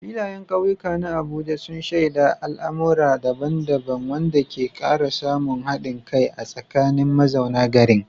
Filayen kauyukan na Abuja sun shaida al'amura daban-daban, wanda ke kara samun hadin kai a tsakanin mazauna garin.